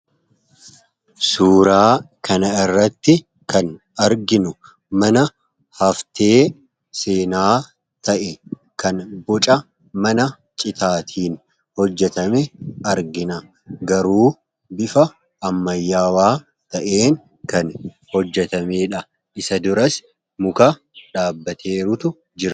suuraa kana irratti kan arginu mana haftee seenaa ta'e kan boca mana citaatiin hojjatame argina garuu bifa ammayyawaa ta'een kan hojjatameedha isa duras muka dhaabbateeruutu jire